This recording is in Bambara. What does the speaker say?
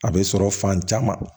A bɛ sɔrɔ fan caman